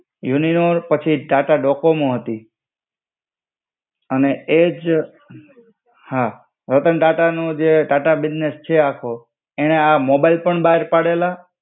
Uninor પછી Tata Docomo હતી. અને એજ હા રતન ટાટા નું જે ટાટા બિઝનેસ છે આખું, એને આ મોબાઈલ ફોન બ્હાર પાડેલા.